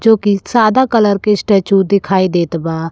जोकि सादा कलर के स्टैचू दिखाई देत बा।